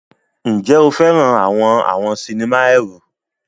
Ǹjẹ́ o fẹ́ràn àwọn àwọn sinimá ẹ̀rù?